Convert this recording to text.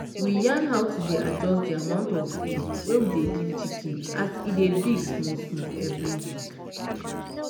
we yarn how to dey adjust di amount of food wey we give chicken as e dey big small-small every week.